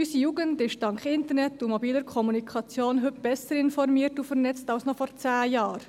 Unsere Jugend ist dank Internet und mobiler Kommunikation heute besser informiert und vernetzt als noch vor zehn Jahren.